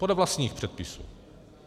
Podle vlastních předpisů.